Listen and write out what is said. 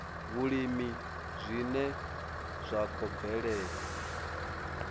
vhulimi zwine zwa khou bvelela